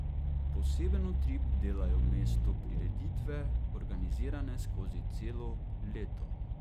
Poseben utrip dajejo mestu prireditve, organizirane skozi celo leto.